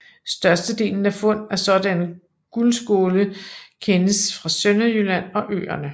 Størstedelen af fund af sådanne guldskåle kendes fra Sønderjylland og øerne